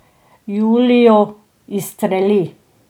Julijo izstreli.